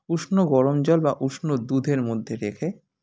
উষ্ণ গরম জল বা উষ্ণ দুধের মধ্যে রেখে